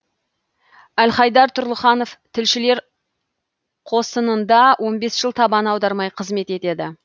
әлхайдар тұрлыханов тілшілер қосынында он бес жыл табан аудармай қызмет етеді